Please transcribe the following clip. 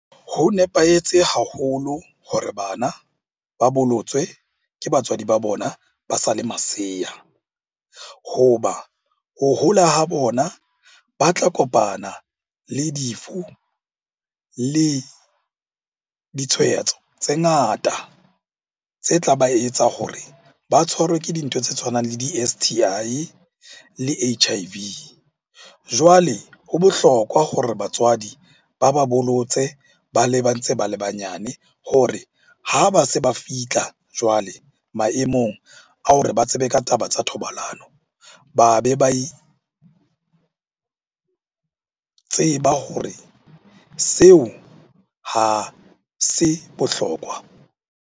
Ho nepahetse haholo hore bana ba bolotswe ke batswadi ba bona ba sale masea. Ho ba ho hola ha bona, ba tla kopana le difu le ditshwaetso tse ngata tse tlaba etsa hore ba tshwarwe ke dintho tse tshwanang le di-S_T_I le H_I_V. Jwale ho bohlokwa hore batswadi ba ba bollotse ba le ba ntse ba le banyane hore ha ba se ba fitlha jwale maemong a hore ba tsebe ka taba tsa thobalano. Ba be ba itseba hore seo ha se bohlokwa.